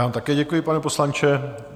Já vám také děkuji, pane poslanče.